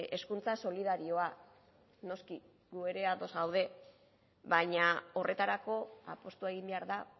hezkuntza solidarioa noski gu ere ados gaude baina horretarako apustua egin behar da